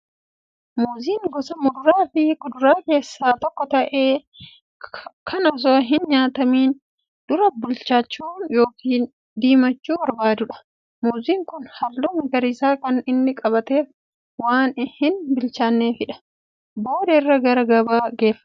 Muuziin gosa muduraa fi kuduraa keessaa tokko ta'ee, kan osoo hin nyaatamiin dura bilchaachuu yookiin diimachuu barbaadudha. Muuziin kun halluu magariisa kan inni qabaateef, waan hin bilchaanneefidha. Booda irra gara gabaa geeffama.